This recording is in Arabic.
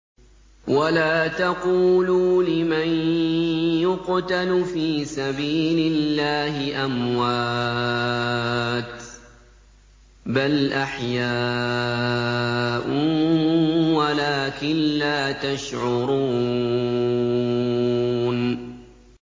وَلَا تَقُولُوا لِمَن يُقْتَلُ فِي سَبِيلِ اللَّهِ أَمْوَاتٌ ۚ بَلْ أَحْيَاءٌ وَلَٰكِن لَّا تَشْعُرُونَ